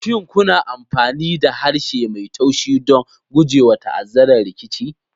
Shin kuna amfani da harshe mai taushi don gujewa ta'azzarar rikici?